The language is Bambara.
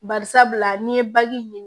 Bari sabula n'i ye baji ɲini